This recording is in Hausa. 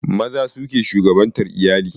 Maza su ke shugabantar iyali